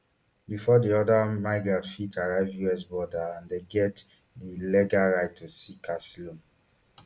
before di order migrants fit arrive us border and dem get di legal right to seek asylum